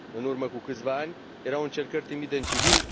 În urmă cu câțiva ani, erau încercări timide în civil.